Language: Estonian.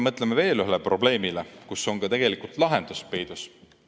Mõtleme veel ühele probleemile, kus on ka tegelikult lahendus peidus.